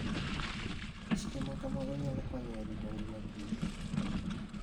Chike ma kamago nyalo konyo e rito ngima kich.